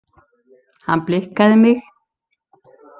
Hann blikkaði mig.